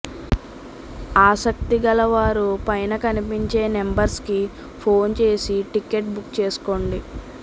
ఆసక్తి గల వారు పైన కనిపించే నెంబర్స్ కి ఫోన్ చేసి టికెట్ బుక్ చేసుకోండి